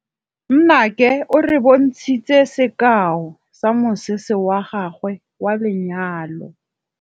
Nnake o re bontshitse sekaô sa mosese wa gagwe wa lenyalo.